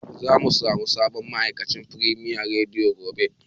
Zamu samu sabon ma'aikaci a Firemiya rediyo gobe.